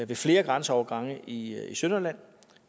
ved flere grænseovergange i sønderjylland